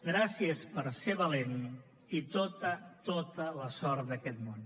gràcies per ser valent i tota tota la sort d’aquest món